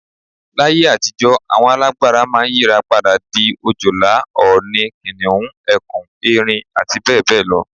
Laye àtijó̩ àwo̩n alágbára máa ń yírapadà di ojòlá, ò̩ò̩nì, kìnìún, e̩kùn, erin, abbl.